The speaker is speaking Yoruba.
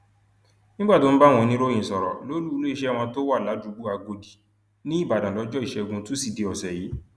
nígbà tó ń bá àwọn oníròyìn sọrọ lólu iléeṣẹ wọn tó wà ládùúgbò agòdì níìbàdàn lọjọ ìṣẹgun túṣídéé ọsẹ yìí